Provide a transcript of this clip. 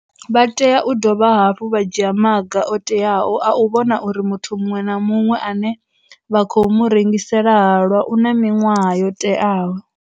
Vha tea u dovha hafhu vha dzhia maga o teaho a u vhona uri muthu muṅwe na muṅwe ane vha khou mu rengisela halwa u na miṅwaha yo teaho.